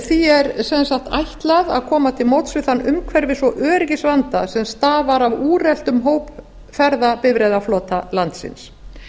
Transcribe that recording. því er sem sagt ætlað að koma til móts við þann umhverfis og öryggisvanda sem stafar af úreltum hópferðabifreiðaflota landsins